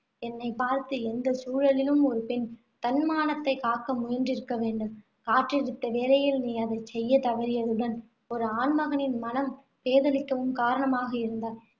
என்னை பார்த்து, எந்தச் சூழலிலும் ஒரு பெண் தன் மானத்தைக் காக்க முயன்றிருக்க வேண்டும், காற்றடித்த வேளையில் நீ அதைச் செய்யத் தவறியதுடன், ஒரு ஆண்மகனின் மனம் பேதலிக்கவும் காரணமாக இருந்தாய்.